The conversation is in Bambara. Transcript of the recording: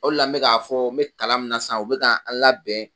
O le la n be k'a fɔ n be kalan min na sisan o be k'an labɛn